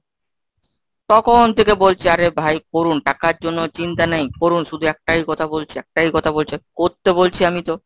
তখন থেকে বলছি আরে ভাই করুন, টাকার জন্য চিন্তা নেই, করুন। শুধু একটাই কথা বলছি. একটাই কথা বলছে করতে বলছি আমি তো